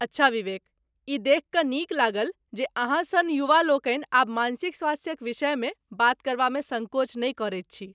अच्छा विवेक, ई देखि कऽ नीक लागल जे अहाँ सन युवालोकनि आब मानसिक स्वास्थ्यक विषयमे बात करबामे सङ्कोच नहि करैत छी।